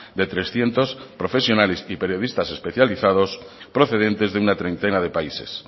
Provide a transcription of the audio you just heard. de trescientos profesionales y periodistas especializados procedentes de una treintena de países